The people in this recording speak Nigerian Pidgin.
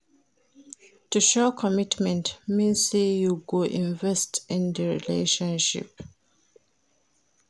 To show commitment mean say you go invest in di relationship